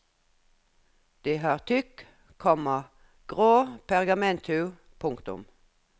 De har tykk, komma grå pergamenthud. punktum